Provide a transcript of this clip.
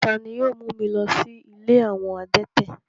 Tani yio mu mi lọ si ìlé awọn adẹ̀tẹ̀?